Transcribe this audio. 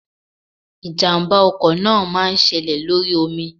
ijamba náá máà ń séle lorí omí